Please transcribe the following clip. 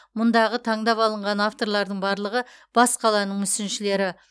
мұндағы таңдап алынған авторлардың барлығы бас қаланың мүсіншілері